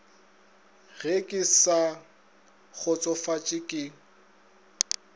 ge ke sa kgotsofatše ke